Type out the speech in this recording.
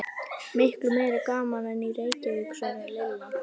Miklu meira gaman en í Reykjavík svaraði Lilla.